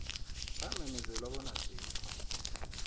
samemezelwa bona asikho